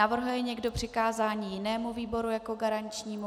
Navrhuje někdo přikázání jinému výboru jako garančnímu?